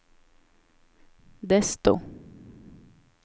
desto